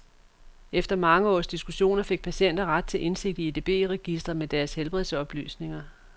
Efter mange års diskussioner fik patienter ret til indsigt i edb-registre med deres helbredsoplysninger.